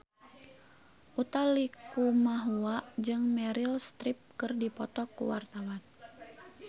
Utha Likumahua jeung Meryl Streep keur dipoto ku wartawan